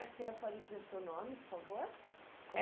O senhor pode dizer o seu nome, por favor. Eh